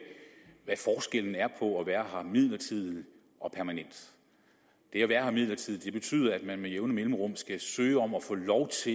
være her midlertidigt og permanent er at være her midlertidigt betyder at man med jævne mellemrum skal søge om at få lov